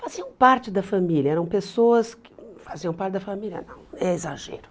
Faziam parte da família, eram pessoas que... Faziam parte da família, não, é exagero.